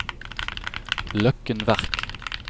Løkken Verk